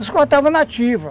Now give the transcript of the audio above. Nós cortávamos nativa.